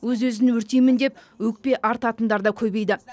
өз өзін өртеймін деп өкпе артатындар да көбейді